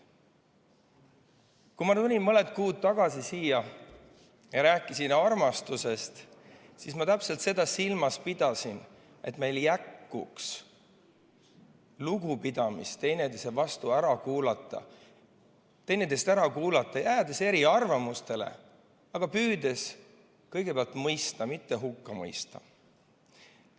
Kui ma mõned kuud tagasi siin armastusest rääkisin, siis täpselt seda ma silmas pidasingi – seda, et meil jätkuks lugupidamist üksteise vastu ja üksteist ära kuulata, jäädes küll eri arvamusele, kuid püüdes kõigepealt mõista, mitte hukka mõista.